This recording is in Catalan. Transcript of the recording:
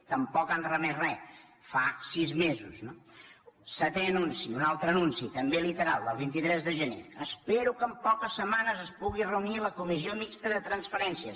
tampoc han remès re fa sis mesos no setè anunci un altre anunci també literal del vint tres de gener espero que en poques setmanes es pugui reunir la comissió mixta de transferències